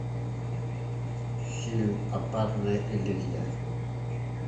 фильм опасная иллюзия